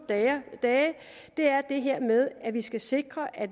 det er det her med at vi skal sikre at